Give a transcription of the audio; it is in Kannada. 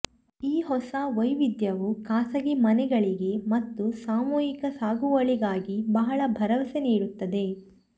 ಈ ಹೊಸ ವೈವಿಧ್ಯವು ಖಾಸಗಿ ಮನೆಗಳಿಗೆ ಮತ್ತು ಸಾಮೂಹಿಕ ಸಾಗುವಳಿಗಾಗಿ ಬಹಳ ಭರವಸೆ ನೀಡುತ್ತದೆ